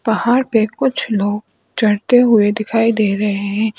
पहाड़ पे कुछ लोग चढ़ते हुए दिखाई दे रहे हैं।